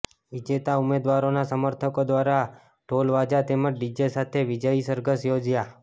વિજેતા ઉમેદવારોના સમર્થકો દ્વારા ઢોલવાજા તેમજ ડીજે સાથે વિજયી સરઘસ યોજાયાં